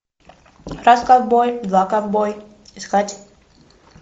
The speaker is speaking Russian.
раз ковбой два ковбой искать